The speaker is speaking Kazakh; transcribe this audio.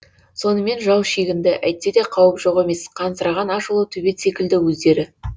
сонымен жау шегінді әйтсе де қауіп жоқ емес қансыраған ашулы төбет секілді өздері